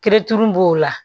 b'o la